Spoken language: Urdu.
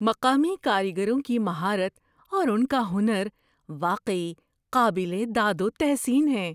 مقامی کاریگروں کی مہارت اور ان کا ہنر واقعی قابل داد و تحسین ہیں۔